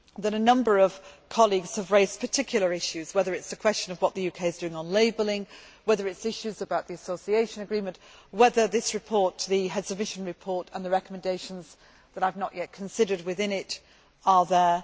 A number of colleagues have raised particular issues, whether it is a question of what the UK is doing on labelling, whether it is issues about the association agreement, whether this report the Heads of Mission report and the recommendations that I have not yet considered within it are there.